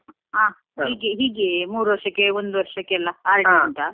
ಹ ಹೀಗೆ ಹೀಗೆ ಮೂರೂ ವರ್ಷಕ್ಕೆ ಒಂದು ವರ್ಷಕ್ಕೆ RD ಉಂಟಾ?